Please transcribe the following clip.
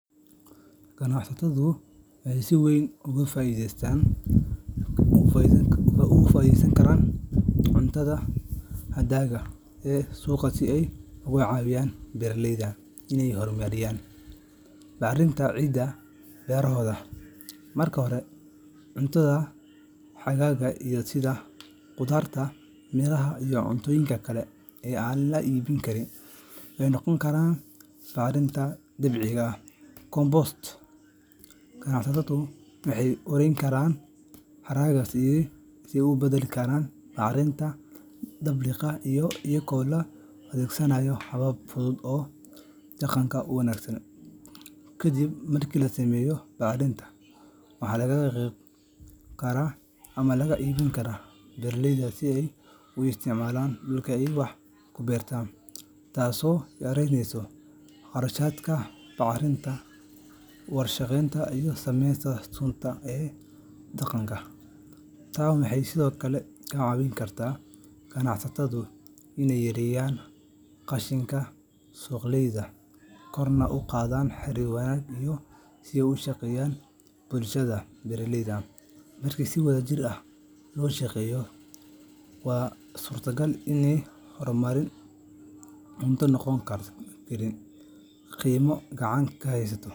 Ganacsatadu waxay si weyn uga faa’iideysan karaan cuntada hadhaaga ah ee suuqa si ay uga caawiyaan beeraleyda inay horumariyaan bacrinta ciidda beerahooda. Marka hore, cuntada hadhaaga ah sida khudaarta, miraha, iyo cuntooyinka kale ee aan la iibin karin waxay noqon karaan bacriminta dabiiciga ah compost. Ganacsatadu waxay ururin karaan haraagaas oo ay u beddeli karaan bacrinta dabiiciga ah iyadoo la adeegsanayo habab fudud oo deegaanka u wanaagsan. Kadib marka la sameeyo bacrinta, waxaa lagu qaybin karaa ama lagu iibin karaa beeraleyda si ay ugu isticmaalaan dhulka ay wax ku beertaan, taasoo yaraynaysa kharashka bacriminta warshadaysan iyo saameynta sunta ah ee deegaanka. Tani waxay sidoo kale ka caawin kartaa ganacsatada inay yareeyaan qashinka suuqyada, korna u qaadaan xirir wanaagsan oo ay la yeeshaan bulshada beeraleyda. Marka si wadajir ah loo shaqeeyo, waa suuragal in haraaga cunto uu noqdo kheyraad qiimo leh oo gacan kaa haysato.